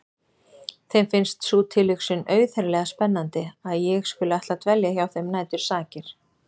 Þeim finnst sú tilhugsun auðheyrilega spennandi að ég skuli ætla að dvelja hjá þeim nætursakir.